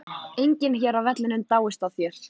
Enginn hér á vellinum dáist að þér.